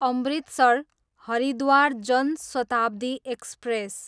Amritsar, Haridwar Jan Shatabdi express